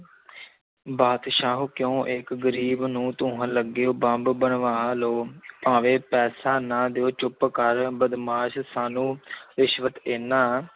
ਬਾਦਸ਼ਾਹੋ ਕਿਉਂ ਇੱਕ ਗ਼ਰੀਬ ਨੂੰ ਧੂੰਹਣ ਲੱਗੇ ਹੋ ਬੰਬ ਬਣਵਾ ਲਓ ਭਾਵੇਂ ਪੈਸਾ ਨਾ ਦਿਓ ਚੁੱਪ ਕਰ ਬਦਮਾਸ਼ ਸਾਨੂੰ ਰਿਸ਼ਵਤ ਦੇਨਾ